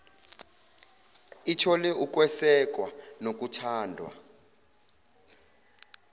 ithole ukwesekwa nokuthandwa